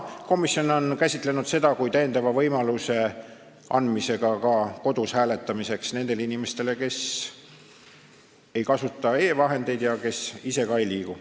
Komisjon on käsitlenud seda kui täiendava võimaluse andmist nendele inimestele, kes ei kasuta e-vahendeid ja kes ise ei liigu.